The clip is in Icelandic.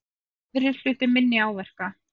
Aðrir hlutu minni áverka